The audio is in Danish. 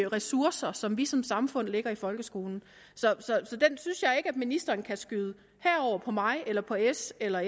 ressourcer som vi som samfund lægger i folkeskolen så den synes jeg ikke at ministeren kan skyde herover på mig eller på s eller